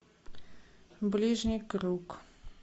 ближний круг